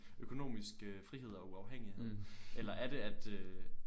Økonomisk øh frihed og uafhængihed eller er det at øh